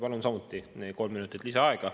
Palun samuti kolm minutit lisaaega …